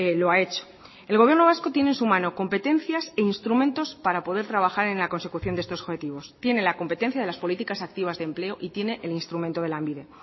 lo ha hecho el gobierno vasco tiene en su mano competencias e instrumentos para poder trabajar en la consecución de estos objetivos tiene la competencia de las políticas activas de empleo y tiene el instrumento de lanbide